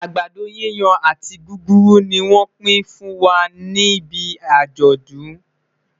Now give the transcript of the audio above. àgbàdo yíyan àti gúgúrú ní wón pi n fún wà níbí ajodun